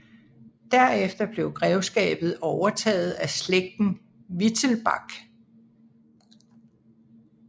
Derefter blev grevskabet overtaget af slægten Wittelsbach